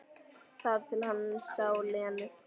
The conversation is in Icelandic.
Þar til hann sá Lenu.